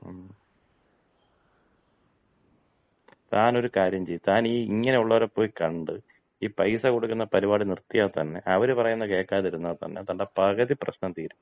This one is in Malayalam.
മ്മ്മ്. താനൊരു കാര്യം ചെയ്യ്. താൻ ഈ ഇങ്ങനെയുള്ളവരെ പോയി കണ്ട് ഈ പൈസ കൊടുക്കുന്ന പരിപാടി നിർത്തിയാ തന്നെ അവര് പറയുന്നത് കേക്കാതിരുന്നാ തന്നെ തന്‍റെ പകുതി പ്രശ്നം തീരും.